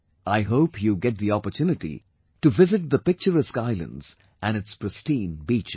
I hope you get the opportunity to visit the picturesque islands and its pristine beaches